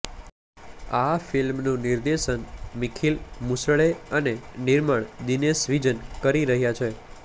આ ફિલ્મનું નિર્દેશન મિખીલ મુસળે અને નિર્માણ દિનેશ વિજન કરી રહ્યા છે